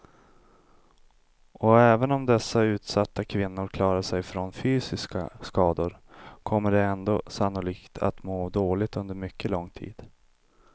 Och även om dessa utsatta kvinnor klarat sig från fysiska skador kommer de ändå sannolikt att må dåligt under mycket lång tid.